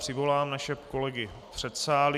Přivolám naše kolegy v předsálí.